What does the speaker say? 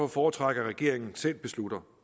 foretrække at regeringen selv beslutter